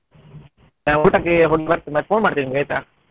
ಬರ್ತೀನಿ ಮತ್ತೆ phone ಮಾಡ್ತೀನಿ ನಿಮ್ಗೆ ಆಯ್ತಾ.